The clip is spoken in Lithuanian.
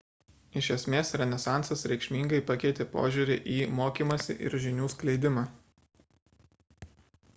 iš esmės renesansas reikšmingai pakeitė požiūrį į mokymąsi ir žinių skleidimą